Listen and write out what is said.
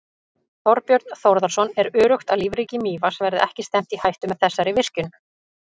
Þorbjörn Þórðarson: Er öruggt að lífríki Mývatns verði ekki stefnt í hættu með þessari virkjun?